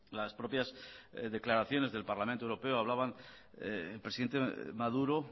las propias declaraciones del parlamento europeo hablaban presidente maduro